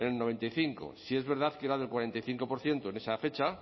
en el noventa y cinco sí es verdad que era del cuarenta y cinco por ciento en esa fecha